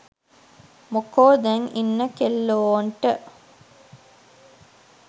මොකෝ දැන් ඉන්න කෙල්ලෝන්ට